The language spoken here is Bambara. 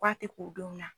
K'a tɛ k'o donw na